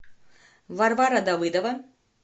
варвара давыдова